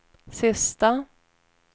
sista